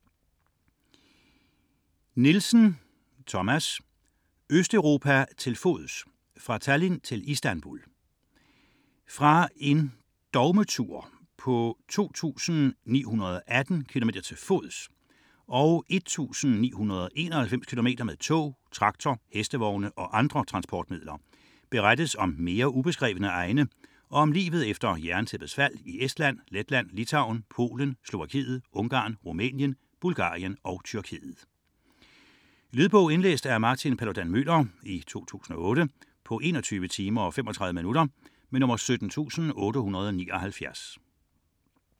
41.7 Nielsen, Thomas: Østeuropa til fods: fra Tallinn til Istanbul Fra en dogmetur på 2918 km til fods og 1991 km med tog, traktor, hestevogn og andre transportmidler berettes om mere ubeskrevne egne og om livet efter jerntæppets fald i Estland, Letland, Litauen, Polen, Slovakiet, Ungarn, Rumænien, Bulgarien og Tyrkiet. Lydbog 17879 Indlæst af Martin Paludan-Müller, 2008. Spilletid: 21 timer, 35 minutter.